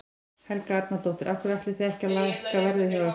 Helga Arnardóttir: Af hverju ætlið þið ekki að lækka verð hjá ykkur?